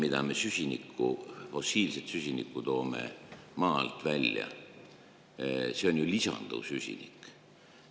Iga tonn fossiilset süsinikku, mida me maa alt välja toome, on ju lisanduv süsinik.